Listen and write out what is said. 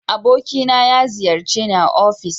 Abokina na ya ziyarce ni a ofis